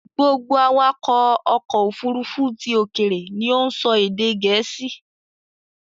Gbogbo awakọ̀ ọkọ̀ Òfurufú ti òkèèrè ni ó ń sọ èdè Gèésì